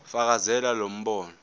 fakazela lo mbono